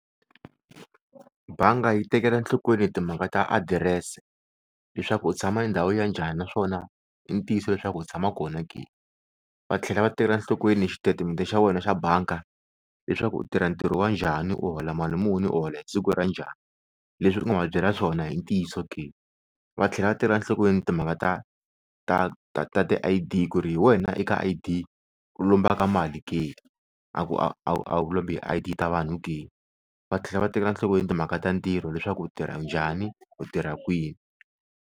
Banga yi tekela nhlokweni timhaka ta adirese leswaku u tshama endhawini ya njhani naswona i ntiyiso leswaku u tshama kona ke va tlhela va tekela nhlokweni xitetimede xa wena xa banga leswaku u tirha ntirho wa njhani u hola mali muni u hola hi siku ra njhani leswi u nga va byela swona i ntiyiso ke va tlhela va tekekla nhlokweni timhaka ta ta ta ti I_D ku ri hi wena eka I_D u lombaka mali ke a ku a wu a wu lombi hi I_D ta vanhu ke va tlhela va tekela nhlokweni timhaka ta ntirho leswaku u tirha njhani u tirha kwini.